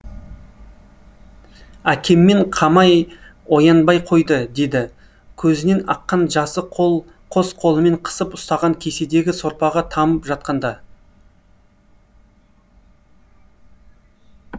әкеммен қамай оянбай қойды деді көзінен аққан жасы қос қолымен қысып ұстаған кеседегі сорпаға тамып жатқанда